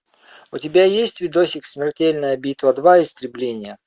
у тебя есть видосик смертельная битва два истребление